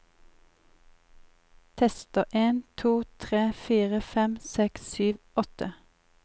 Tester en to tre fire fem seks sju åtte